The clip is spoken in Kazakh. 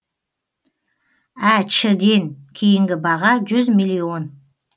әч ден кейінгі баға жүз миллион